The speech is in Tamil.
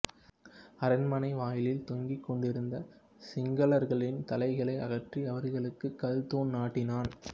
அரண்மனை வாயிலில் தொங்கிக் கொண்டிருந்த சிங்களர்களின் தலைகளை அகற்றி அவர்களுக்கு கல் தூண் நாட்டினான்